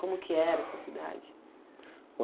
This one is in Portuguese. Como que era essa cidade?